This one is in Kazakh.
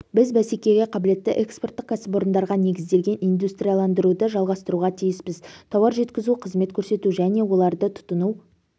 біз бәсекеге қабілетті экспорттық кәсіпорындарға негізделген индустрияландыруды жалғастыруға тиіспіз тауар жеткізу қызмет көрсету және оларды тұтыну